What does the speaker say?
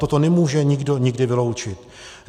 Toto nemůže nikdo nikdy vyloučit.